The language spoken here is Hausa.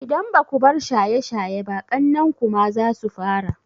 Idan baku bar shaye shaye ba, ƙannen ku ma zasu fara.